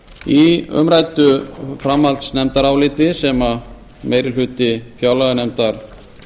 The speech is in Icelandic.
í umræddu framhaldsnefndaráliti sem meiri hluti fjárlaganefndar